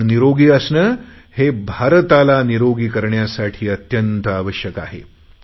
आपण निरोगी असणे हे भारताला निरोगी करण्यासाठी अत्यंत आवश्यक आहे